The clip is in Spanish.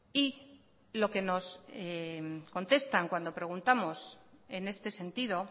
y lo que nos contestan cuando preguntamos en este sentido